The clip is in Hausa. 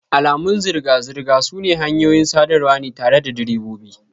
Alamun zirga-zirga sune hanyoyin sadarwa ne tare da direbobi.